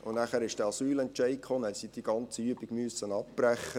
Danach folgte der Asylentscheid, und sie mussten die ganze Übung abbrechen.